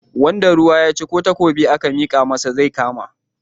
Wanda ruwa ya ci ko takobi aka mika masa zai kama.